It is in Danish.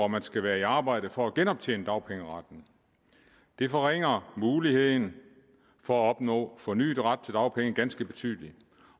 man skal være i arbejde for at genoptjene dagpengeretten det forringer muligheden for at opnå fornyet ret til dagpenge ganske betydeligt